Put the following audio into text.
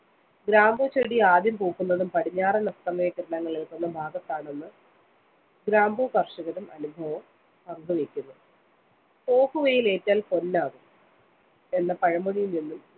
ഗ്രാമ്പൂ ചെടി ആദ്യം പൂക്കുന്നതും പടിഞ്ഞാറന്‍ അസ്‌തമയ കിരണങ്ങള്‍ ഏല്‍ക്കുന്ന ഭാഗത്താണെന്ന് ഗ്രാമ്പൂ കര്‍ഷകരും അനുഭവം പങ്കുവയ്ക്കുന്നു. പോക്കുവെയില്‍ ഏറ്റാല്‍ പൊന്നാകും എന്ന പഴമൊഴിയില്‍ നിന്നും